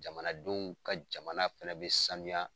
Jamanadenw ka jamana fɛnɛ bɛ sanuya.